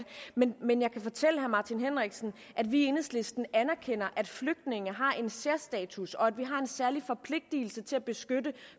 men men jeg kan fortælle herre martin henriksen at vi i enhedslisten anerkender at flygtninge har en særstatus og at vi har en særlig forpligtelse til at beskytte